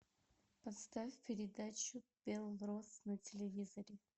поставь передачу белрос на телевизоре